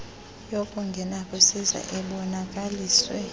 yokungena kwisiza ebonakaliswe